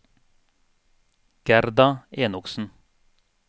Gerda Enoksen